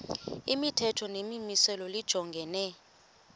imithetho nemimiselo lijongene